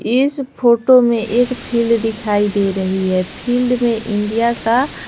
इस फोटो में एक फील्ड दिखाई दे रही है फील्ड में इंडिया का--